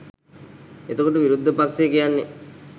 එතකොට විරුද්ධ පක්ෂය කියන්නේ